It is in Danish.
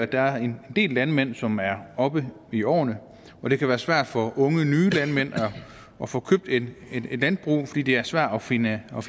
der er en del landmænd som er oppe i årene og det kan være svært for unge nye landmænd at få købt et landbrug fordi det er svært at finansiere